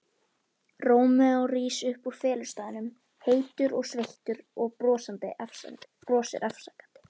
Rómeó rís upp úr felustaðnum, heitur og sveittur, og brosir afsakandi.